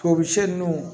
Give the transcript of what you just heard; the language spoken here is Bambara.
Tɔmisɛn nunnu